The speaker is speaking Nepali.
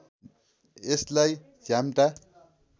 यसलाई झ्याम्टा